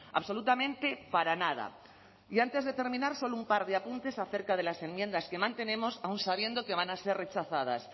absolutamente para nada y antes de terminar solo un par de apuntes acerca de las enmiendas que mantenemos aun sabiendo que van a ser rechazadas